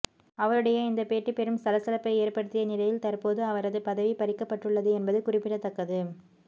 அவருடைய இந்த பேட்டி பெரும் சலசலப்பை ஏற்படுத்திய நிலையில் தற்போது அவரது பதவி பறிக்கப்பட்டுள்ளது என்பது குறிப்பிடத்தக்கது